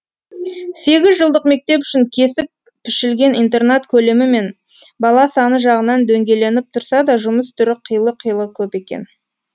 сегіз жылдық мектеп үшін кесіп пішілген интернат көлемі мен бала саны жағынан дөңгеленіп тұрса да жұмыс түрі қилы қилы көп екен